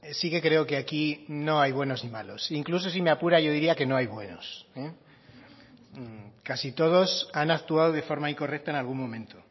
sí que creo que aquí no hay buenos y malos incluso si me apura yo diría que no hay buenos casi todos han actuado de forma incorrecta en algún momento